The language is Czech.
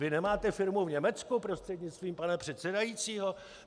Vy nemáte firmu v Německu, prostřednictvím pana předsedajícího?